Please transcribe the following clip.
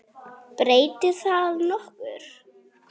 Breytir það nokkru?